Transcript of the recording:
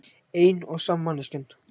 Ein og sama manneskjan.